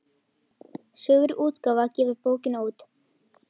Sögur útgáfa gefur bókina út.